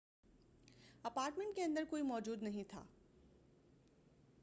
apartment کے اندر کوئی موجود نہیں تھا